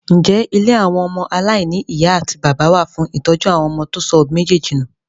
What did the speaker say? Ǹjẹ́ ilé àwọn ọmọ aláìní ìyá àti bàbá wà fún ìtọ́jú fún àwọn ọmọ tó sọ òbí méjèèjì nù?